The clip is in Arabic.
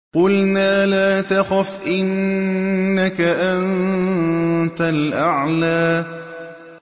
قُلْنَا لَا تَخَفْ إِنَّكَ أَنتَ الْأَعْلَىٰ